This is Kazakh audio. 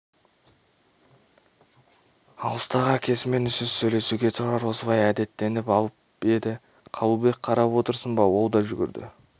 алыстағы әкесімен үнсіз сөйлесуге тұрар осылай әдеттеніп алып еді қабылбек қарап отырсын ба ол да жүгірді